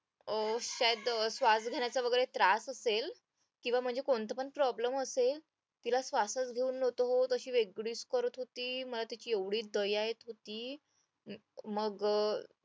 अं त्यात श्वास घेण्याचा वगैरे त्रास असेल किंवा म्हणजे कोणता पण problem असेल तिला श्वासच तशी वेगळीच करत होती मला तिची एवढी दया येत होती मग